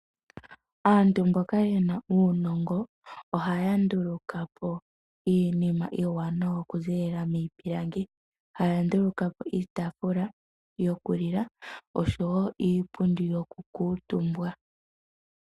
Aantu mboka yena uunongo ohaya ndulukapo iinima iiwanawa okuziilila miipilangi. Haya nduluka po iitaafula yoku lila oshowo iipundi yoku kuutumbwa.